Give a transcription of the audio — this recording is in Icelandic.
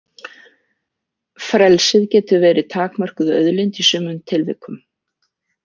Frelsið getur verið takmörkuð auðlind í sumum tilvikum.